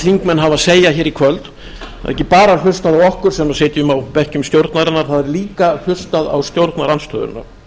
hafa að segja hér í kvöld það er ekki bara hlustað á okkur sem sitjum á bekkjum stjórnarinnar það er líka hlustað á stjórnarandstöðuna